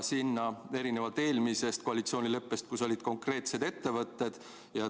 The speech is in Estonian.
Eelmises koalitsioonileppes olid konkreetsed ettevõtted.